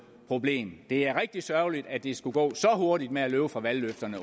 problem det er rigtig sørgeligt at det skulle gå så hurtigt med at løbe fra valgløfterne